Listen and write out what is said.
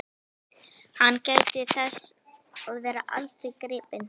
Hann gæti þess að verða aldrei gripinn.